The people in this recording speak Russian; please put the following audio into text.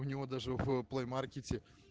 у него даже в плэй маркете